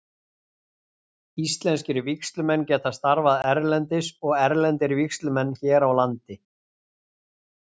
Íslenskir vígslumenn geta starfað erlendis og erlendir vígslumenn hér á landi.